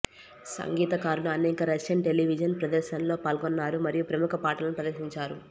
సంగీతకారులు అనేక Russian television ప్రదర్శనలలో పాల్గొన్నారు మరియు ప్రముఖ పాటలను ప్రదర్శించారు